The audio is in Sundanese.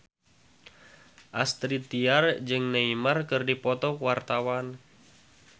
Astrid Tiar jeung Neymar keur dipoto ku wartawan